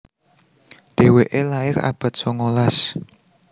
Dhéwéké lair abad songolas